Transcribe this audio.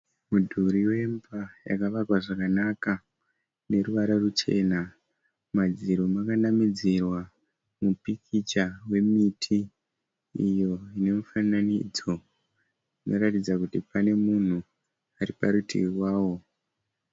Mudhuri wemba yakavakwa zvakanaka neruvara ruchena madziro makanamidzirwa mupikitya wemiti iyo nemifananidzo unoratidza kuti pane munhu ariparutivi wawo.